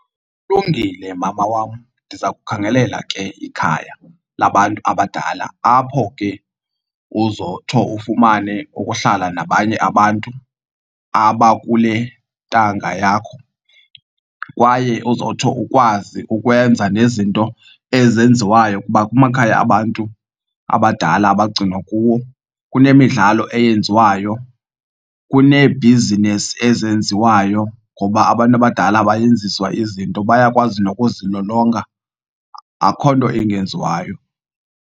Kulungile mama wam, ndiza kukhangela ke ikhaya labantu abadala apho ke uzotsho ufumane ukuhlala nabanye abantu abakule ntanga yakho kwaye ozowutsho ukwazi ukwenza nezinto ezenziwayo. Kuba kumakhaya abantu abadala abagcinwa kuwo kunemidlalo eyenziwayo, kuneebhizinesi ezenziwayo ngoba abantu abadala bayenziswa izinto bayakwazi nokuzilolonga, akho nto ingenziwayo.